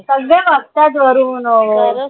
सगळे बगतायत वरून हो